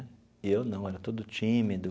E eu não, era todo tímido.